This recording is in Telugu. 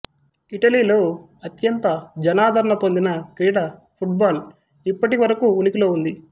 ఇటలీలో అత్యంత జనాదరణ పొందిన క్రీడ ఫుట్ బాల్ ఇప్పటి వరకు ఉనికిలో ఉంది